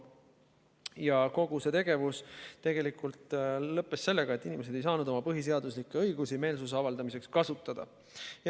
Ja kogu see tegevus tegelikult lõppes sellega, et inimesed ei saanud oma põhiseaduslikke õigusi meelsuse avaldamiseks kasutada.